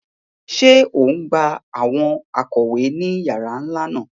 Ṣe o ngbà awọn ikọwe ni yàrà nlá náà?